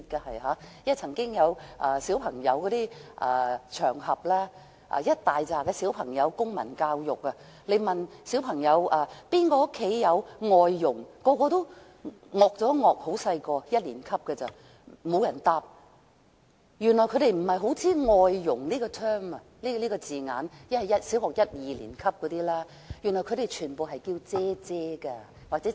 我曾經在一年級小學生的公民教育課堂上，問誰家中有外傭，他們都不太明白，沒有人回答，原來他們不認識"外傭"這個字眼，因為小學一二年級的小朋友全部稱外傭為"姐姐"。